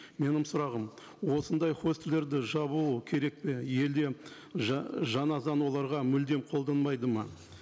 менің сұрағым осындай хостелдерді жабуы керек пе елде жаңа заң оларға мүлдем қолданбайды ма